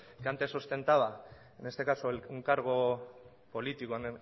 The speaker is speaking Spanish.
que antes ostentaba en este caso un cargo político